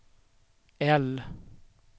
L